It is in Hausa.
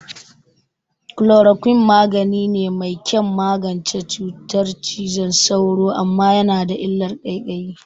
Chloroquine magani ne mai kyan magance cutar cizon sauro, amma yana da illar ƙaiƙayi.